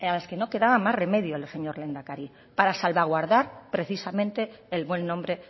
a las que no quedaba más remedio señor lehendakari para salvaguardar precisamente el buen nombre